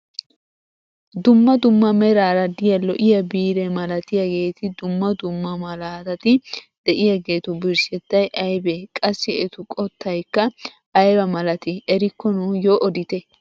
Dumma dumma meraara diya lo'iya biire malatiyaageti dumma dumma malaatati de'iyaagetu birshshettay aybee? Qassi etu qottaykka aybaa malatii erikko nuyoo odite?